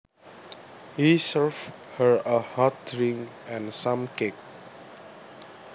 He served her a hot drink and some cake